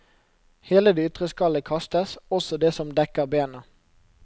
Hele det ytre skallet kastes, også det som dekker bena.